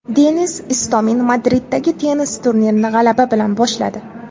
Denis Istomin Madriddagi tennis turnirini g‘alaba bilan boshladi.